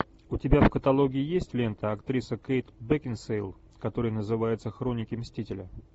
у тебя в каталоге есть лента актриса кейт бекинсейл которая называется хроники мстителя